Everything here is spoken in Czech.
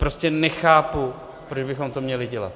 Prostě nechápu, proč bychom to měli dělat.